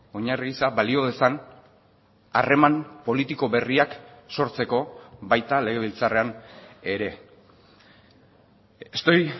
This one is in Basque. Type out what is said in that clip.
oinarri gisa balio dezan harreman politiko berriak sortzeko baita legebiltzarrean ere estoy